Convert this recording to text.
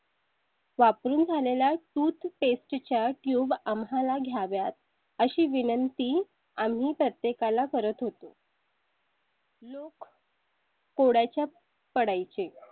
वापरून झालेला toothpaste च्या tube आम्हाला घ्याव्यात अशी विनंती आम्ही प्रत्येका ला करत होतो लोक. कोडा च्या पडाय चे.